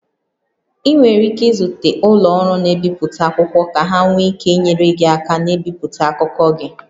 Ị nwere ike izute ụlọ ọrụ na-ebipụta akwụkwọ ka ha nwee ike inyere gị aka na-ebipụta akụkọ gị